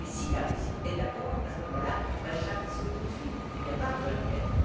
Mais si la Russie est d'accord, à ce moment là, Bachar il saute tout de suite, et il n'y a pas besoin de guerre.